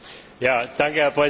Herr Präsident!